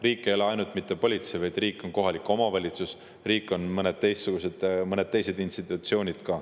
Riik ei ole ainult politsei, vaid riik on ka kohalik omavalitsus, riik on veel mõned teised institutsioonid.